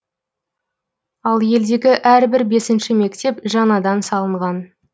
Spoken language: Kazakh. ал елдегі әрбір бесінші мектеп жаңадан салынған